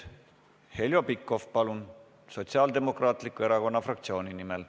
Heljo Pikhof, palun, Sotsiaaldemokraatliku Erakonna fraktsiooni nimel.